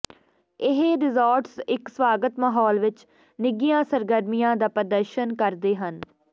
ਇਹ ਰਿਜ਼ਾਰਟਸ ਇੱਕ ਸਵਾਗਤ ਮਾਹੌਲ ਵਿੱਚ ਨਿੱਘੀਆਂ ਸਰਗਰਮੀਆਂ ਦਾ ਪ੍ਰਦਰਸ਼ਨ ਕਰਦੇ ਹਨ